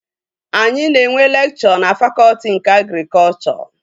Anyị na-enwe lekchọ na fakọtị nke agrikọchọ